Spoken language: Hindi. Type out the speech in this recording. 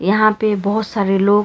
यहां पे बहोत सारे लोग--